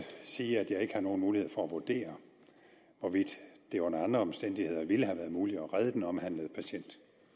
sige at jeg ikke har nogen mulighed for at vurdere hvorvidt det under andre omstændigheder ville have været muligt at redde den omhandlede patient